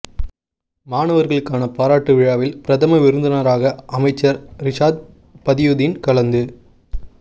மாணவர்களுக்கான பாராட்டு விழாவில் பிரதம விருந்தினராக அமைச்சர் ரிஷாத் பதியுதீன் கலந்து